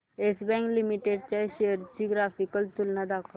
yes Bank Limited च्या shares ची graphical तुलना दाखव